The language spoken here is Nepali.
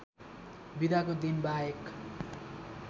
बिदाको दिन वाहेक